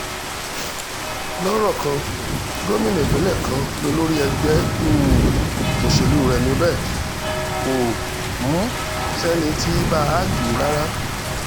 lọ́rọ̀ kan gómìnà ìpínlẹ̀ kan lólórí ẹgbẹ́ um òṣèlú rẹ̀ níbẹ̀ kò um sẹ́ni tí ì bá a dù ú rárá